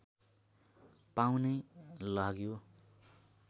पाउनै लाग्यो